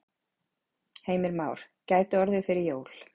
Heimir Már: Gæti orðið fyrir jól?